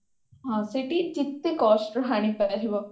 ହଁ ସେଇଠି ଯେତେ cost ର ଆଣି ପାରିବ